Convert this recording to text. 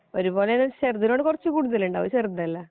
ഒരുപോലെന്ന് വെച്ചാല് ചെറുതിനോട് കുറച്ചു കൂടുതലുണ്ട് അത് ചെറുതല്ലേ